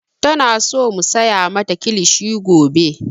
Tana so mu saya mata kilishi gobe